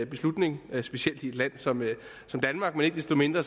beslutning specielt i et land som som danmark men ikke desto mindre